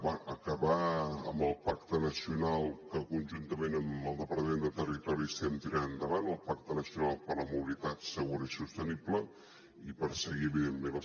bé acabar amb el pacte nacional que conjuntament amb el departament de territori estem tirant endavant el pacte nacional per a la mobilitat segura i sostenible i perseguir evidentment les